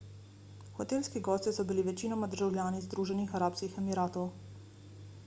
hotelski gosti so bili večinoma državljani združenih arabskih emiratov